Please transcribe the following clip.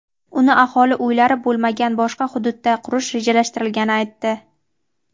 uni aholi uylari bo‘lmagan boshqa hududda qurish rejalashtirilgani aytdi.